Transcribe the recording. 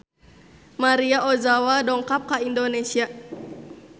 Maria Ozawa dongkap ka Indonesia